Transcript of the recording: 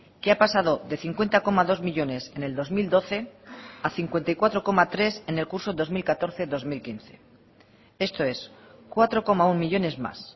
que ha pasado de cincuenta coma dos millónes en el dos mil doce a cincuenta y cuatro coma tres en el curso dos mil catorce dos mil quince esto es cuatro coma uno millónes más